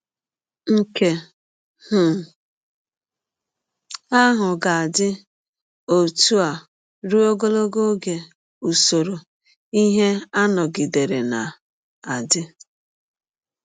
Nke um ahụ ga - adị ọtụ a rụọ ọgọlọgọ ọge usọrọ ihe a nọgidere na - adị.